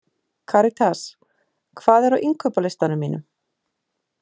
Karitas, hvað er á innkaupalistanum mínum?